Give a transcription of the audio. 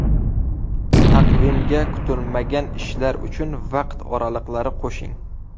Taqvimga kutilmagan ishlar uchun vaqt oraliqlari qo‘shing.